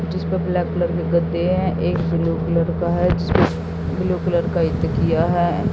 जिस पर black colour के गद्दे है एक ब्लू कलर का है जिस पे ब्लू कलर का तकिया है।